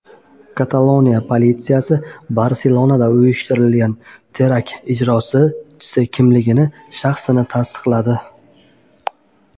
Kataloniya politsiyasi Barselonada uyushtirilgan terakt ijrochisining shaxsini tasdiqladi.